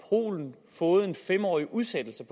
polen fået en fem årig udsættelse